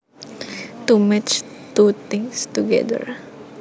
To match two things together